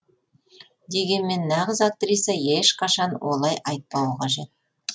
дегенмен нағыз актриса ешқашан олай айтпауы қажет